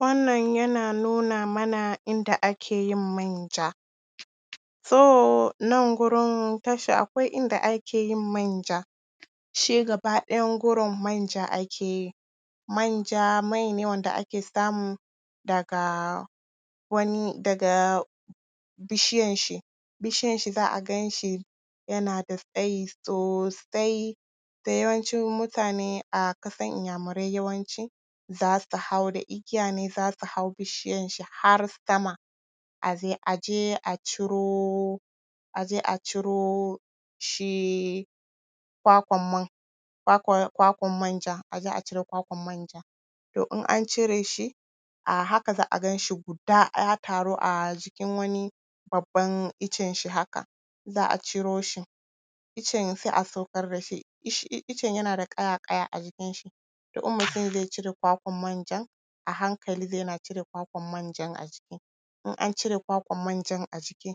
Wannan yana nuna mana inda ake yin manja. So, nan gurin tasha, akwai inda ake yin manja, shi gaba ɗayan gurin manja ake yi. Manja mai ne wanda ake samu daga wani… daga.... bishiyanshi. Bishiyanshi za a gan shi yana da tsayi sosai, so, yawancin mutane a ƙasan inyamurai yawanci za su hau da igiya ne za su hau bishiyanshi har sama, a je, a je a ciro a je a ciro shi kwakwan man, kwakwan, kwakwan manjan, a je a cire kwakwan manja. To in an cire shi, a haka za a gan shi guda ya taru a jikin wani babban icenshi haka, za a ciro shi icen, sai a saukar da shi, icen yana da ƙaya-ƙaya a jikinshi. To in mutum zai cire kwakwan manjan, a hankali zai na cire kakwan manjan a jiki. In an cire kwakwan manjan a jiki,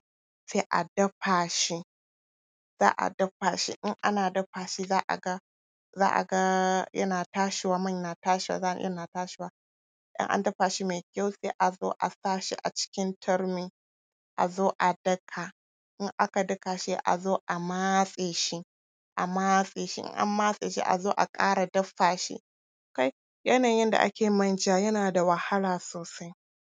sai a dafa shi, za a dafa shi, in ana dafa shi, za a ga, za a ga yana tashiwa, man na tashiwa, za a ga yana tashiwa. In dafa shi mai kyau, sai a zo a sa shi a cikin turmi, a zo a daka. In aka daka, sai a zo a matse shi, a matse shi. In an matse shi, a zo a ƙara dafa shi. Kai! Yanayin yadda ake yin manja yana da wahala sosai.